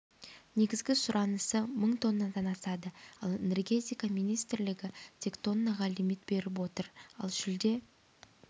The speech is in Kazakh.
негізгі сұранысы мың тоннадан асады ал энергетика министрлігі тек тоннаға лимит беріп отыр ал шілде